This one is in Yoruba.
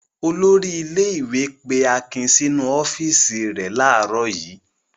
Olórí ilé-ìwé pé Akin sínú ọ́fíísì rẹ̀ láàárọ̀ yìí.